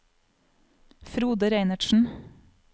Frode Reinertsen